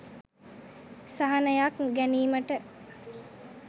සහනයක් ගැනීමට